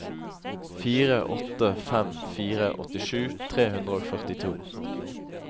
fire åtte fem fire åttisju tre hundre og førtito